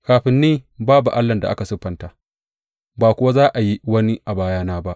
Kafin ni babu allahn da aka siffanta, ba kuwa za a yi wani a bayana ba.